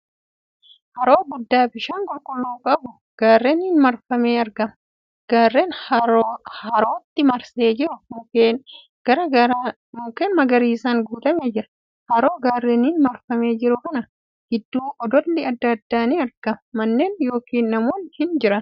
Haroo guddaa bishaan qulqulluu qabu gaarreeniin marfamee argama. Gaarreen harootti marsee jiru mukkeen magariisaan guutamee jira. Haroo gaarreeniin marfamee jiru kana gidduu odolli adda addaa ni argama. Manneen yookiin namoonni hin jiran